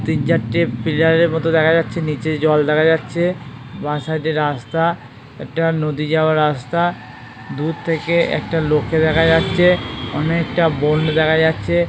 তিন চারটে পিলারের মত দেখা যাচ্ছে নীচে জল দেখা যাচ্ছে বাঁ সাইড - এ রাস্তা একটা নদী যাওয়ার রাস্তা দূর থেকে একটা লোককে দেখা যাচ্ছে অনেকটা বন দেখা যাচ্ছে ।